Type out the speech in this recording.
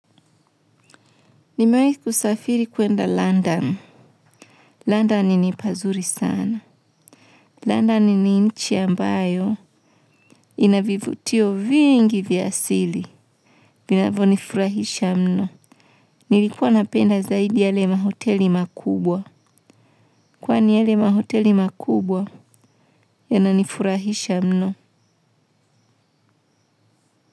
Nimawai kusafiri kwenda London. London ni pazuri sana. London ni nchi ambayo inavivutio vingi vya asili. Vinavo nifurahisha mno. Nilikuwa napenda zaidi yale mahoteli makubwa. Kwani yale mahoteli makubwa yananifurahisha mno.